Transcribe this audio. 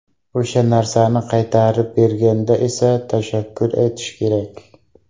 O‘sha narsani qaytarib berganda esa tashakkur aytishi kerak.